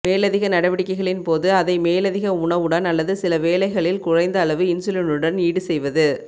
மேலதிக நடவடிக்கைகளின்போது அதை மேலதிக உணவுடன் அல்லது சில வேளைகளில் குறைந்தளவு இன்சுலினுடன் ஈடு செய்வது